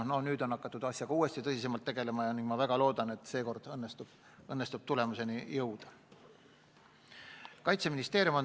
No nüüd on hakatud asjaga uuesti tõsisemalt tegelema ja ma väga loodan, et seekord õnnestub tulemuseni jõuda.